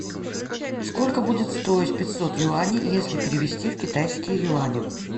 сколько будет стоить пятьсот юаней если перевести в китайские юани